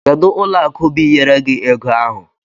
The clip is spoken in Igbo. Kedu ụlọ akụ biyere gi ego ahụ?